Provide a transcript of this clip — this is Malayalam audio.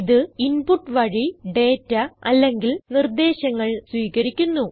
ഇത് ഇൻപുട്ട് വഴി ഡേറ്റ അല്ലെങ്കിൽ നിർദേശങ്ങൾ സ്വീകരിക്കുന്നു